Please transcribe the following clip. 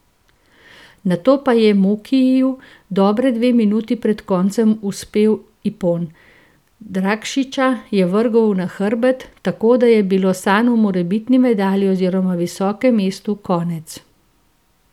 Nato pa je Mukiju dobri dve minuti pred koncem uspel ipon, Drakšiča je vrgel na hrbet, tako da je bilo sanj o morebitni medalji oziroma visokem mestu konec.